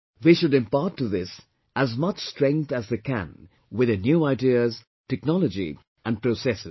They should impart to this as much strength as they can with their new ideas, technology and processes